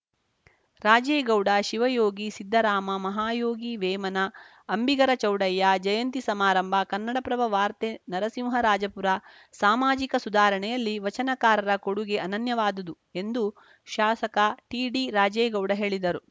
ರಾಜೇಗೌಡ ಶಿವಯೋಗಿ ಸಿದ್ದರಾಮ ಮಹಾಯೋಗಿ ವೇಮನ ಅಂಬಿಗರ ಚೌಡಯ್ಯ ಜಯಂತಿ ಸಮಾರಂಭ ಕನ್ನಡಪ್ರಭ ವಾರ್ತೆ ನರಸಿಂಹರಾಜಪುರ ಸಾಮಾಜಿಕ ಸುಧಾರಣೆಯಲ್ಲಿ ವಚನಕಾರರ ಕೊಡುಗೆ ಅನನ್ಯವಾದುದು ಎಂದು ಶಾಸಕ ಟಿಡಿ ರಾಜೇಗೌಡ ಹೇಳಿದರು